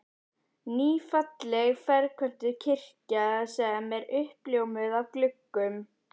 Ný, falleg ferköntuð kirkja sem er uppljómuð af gluggum